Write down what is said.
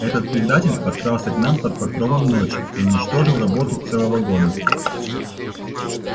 этот предатель подкрался к нам под покровом ночи и уничтожил работу целого года